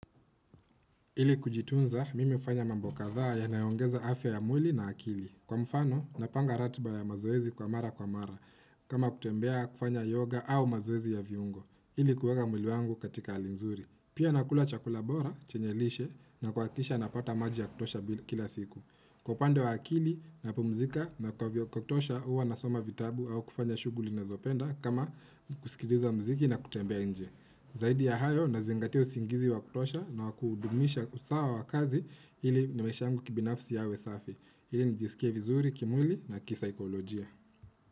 Ili kujitunza, mimi hufanya mambo kadhaa ya nayoongeza afya ya mwili na akili. Kwa mfano, napanga ratiba ya mazoezi kwa mara kwa mara. Kama kutembea kufanya yoga au mazoezi ya viungo. Ili kueka mwili wangu katika hali nzuri. Pia nakula chakula bora, chenye lishe, na kuakikisha napata maji ya kutosha kila siku. Kwa upande wa akili, napumzika na kwa vyo kutosha uwa nasoma vitabu au kufanya shuguli na zopenda kama kusikiliza mziki na kutembea nje. Zaidi ya hayo na zingatia usingizi wakutosha na wakudumisha usawa wakazi hili na maisha yangu kibinafsi yawe safi. Hili nijisikie vizuri, kimwili na kisaikolojia.